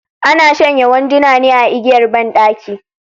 Ana shanya wanduna ne a igiyar banɗaki